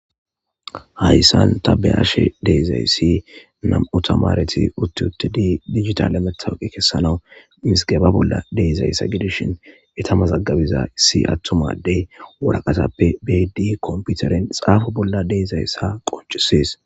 Haysan ta be'ashe dizaysi nam'u tamaret uti utidi dijitale matoqa kesanaw misgeba bolla de'izaysa gidishin eta mazagabi issi atuma ade waraqatappe beyidi konpiteren xapo bolla de'zaysa qoncises.